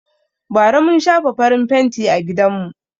Bara mun shafa farin fenti a gidanmu.